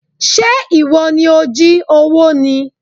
Ṣé ìwọ ni ó jí owó ni?